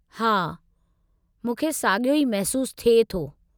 हा, मूंखे साॻियो ई महसूस थिए थो।